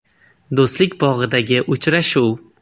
Do‘stlik bog‘idagi uchrashuv.